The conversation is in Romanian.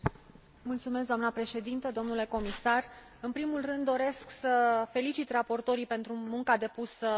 În primul rând, doresc să felicit raportorii pentru munca depusă în realizarea rapoartelor aflate în dezbatere.